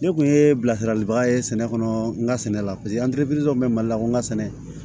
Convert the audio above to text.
Ne kun ye bilasirali baga ye sɛnɛ kɔnɔ n ka sɛnɛ la bɛ mali la n ka sɛnɛ